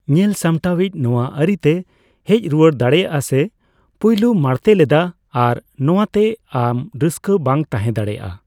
ᱧᱮᱞᱥᱟᱢᱴᱟᱣᱤᱡ ᱱᱚᱣᱟ ᱟᱹᱨᱤ ᱛᱮ ᱦᱮᱡ ᱨᱩᱣᱟᱹᱲ ᱫᱟᱲᱮᱭᱟᱜ ᱥᱮ ᱯᱩᱞᱭᱚ ᱢᱮᱬᱛᱮ ᱞᱮᱫ ᱟ ᱟᱨ ᱱᱚᱣᱟᱛᱮ ᱟᱢ ᱨᱟᱹᱥᱠᱟᱹ ᱵᱟᱝ ᱛᱟᱦᱮᱸ ᱫᱟᱲᱮᱭᱟᱜ ᱟ ᱾